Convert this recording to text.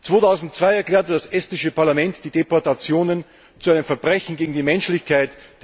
2002 erklärte das estnische Parlament die Deportationen zu einem Verbrechen gegen die Menschlichkeit.